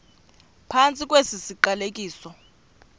phantsi kwesi siqalekiso